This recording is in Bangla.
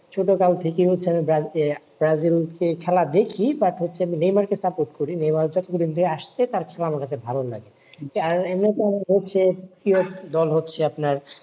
ছোট কাল থেকে হচ্ছে ব্রাজিল কে খেলা দেখি বাট হচ্ছে নেইমারকে support করি নেইমার হচ্ছে আসতে আমার কাছে ভালো লাগে যার এমনে দল হচ্ছে আপনার